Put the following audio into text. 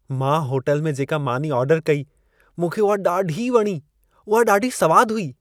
मां होटल में जेका मानी ऑर्डर कई मूंखे उहा ॾाढी वणी। उहा ॾाढी सवाद हुई।